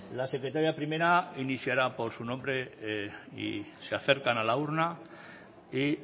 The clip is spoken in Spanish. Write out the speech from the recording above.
la secretaria primera iniciará por su nombre y se acercan a la urna y